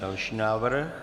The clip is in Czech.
Další návrh.